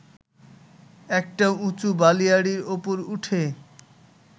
একটা উঁচু বালিয়াড়ির উপর উঠে